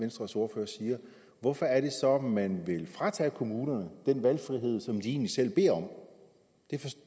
venstres ordfører siger hvorfor er det så man vil fratage kommunerne den valgfrihed som de egentlig selv beder om